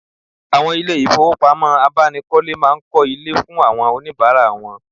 Awon ile ifowopamo abanikole maa n ko ile fun awon onibara won